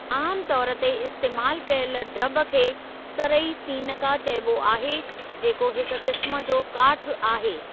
आमु तौर ते इस्‍तेमाल कयलु ड्रब खे सरई सीनका चइबो आहे जेको हिक किस्‍म जो काठ आहे।